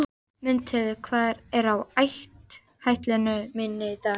Mundheiður, hvað er á áætluninni minni í dag?